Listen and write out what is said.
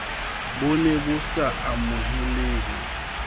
bo ne bo sa amohelehe